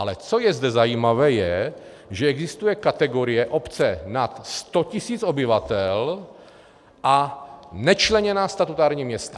Ale co je zde zajímavé, je, že existuje kategorie obce nad 100 tisíc obyvatel a nečleněná statutární města.